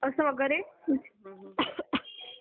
असं वगैरे